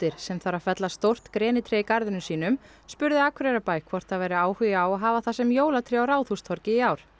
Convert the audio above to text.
sem þarf að fella stórt grenitré í garðinum sínum spurði Akureyrarbæ hvort það væri áhugi á að hafa það sem jólatré á Ráðhústorgi í ár